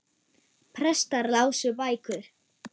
Prestar lásu bækur.